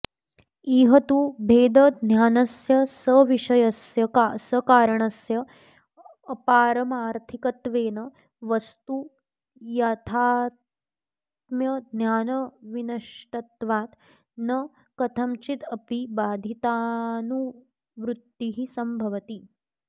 इह तु भेदज्ञानस्य सविषयस्य सकारणस्य अपारमार्थिकत्वेन वस्तुयाथात्म्यज्ञानविनष्टत्वात् न कथञ्चिद् अपि बाधितानुवुत्तिः संभवति